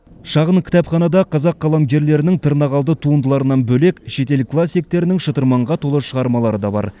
шағын кітапханада қазақ қаламгерлерінің тырнақалды туындыларынан бөлек шетел классиктерінің шытырманға толы шығармалары да бар